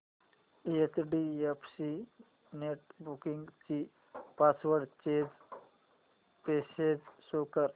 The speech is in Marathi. एचडीएफसी नेटबँकिंग ची पासवर्ड चेंज प्रोसेस शो कर